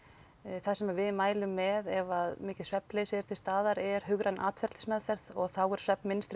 það sem við mælum með ef að mikið svefnleysi er til staðar er hugræn atferlismeðferð og þá er